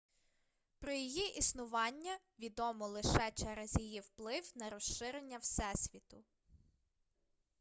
про її існування відомо лише через її вплив на розширення всесвіту